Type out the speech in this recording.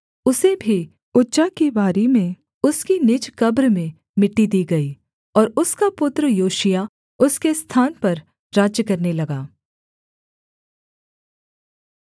उसे भी उज्जा की बारी में उसकी निज कब्र में मिट्टी दी गई और उसका पुत्र योशिय्याह उसके स्थान पर राज्य करने लगा